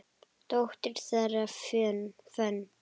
Dóttir þeirra, Fönn